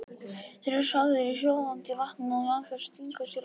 Það geri ég aldrei því þá gætir þú lent illa í því.